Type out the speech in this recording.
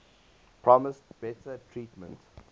promised better treatment